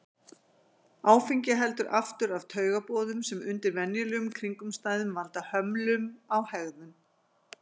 Áfengi heldur aftur af taugaboðum sem undir venjulegum kringumstæðum valda hömlum á hegðun.